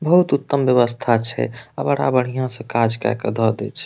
बहुत उत्तम व्यवस्था छै आ बड़ा बढ़िया से काज कए के द देय छै।